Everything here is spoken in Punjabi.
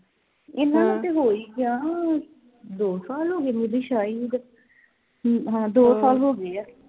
ਇਨ੍ਹਾਂ ਨੂੰ ਤੇ ਹੋ ਹੀ ਗਿਆ ਦੋ ਸਾਲ ਹੋ ਗਏ ਨੂੰ ਹਮ ਹਾਂ ਦੋ ਸਾਲ ਹੋ ਗਏ ਆ